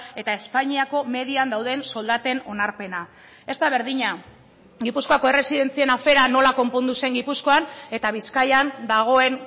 eta espainiako median dauden soldaten onarpena ez da berdina gipuzkoako erresidentzien afera nola konpondu zen gipuzkoan eta bizkaian dagoen